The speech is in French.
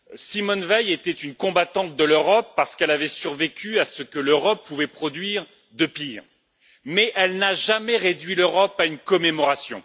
Simone Veil était une combattante de l'Europe, parce qu'elle avait survécu à ce que l'Europe pouvait produire de pire, mais elle n'a jamais réduit l'Europe à une commémoration.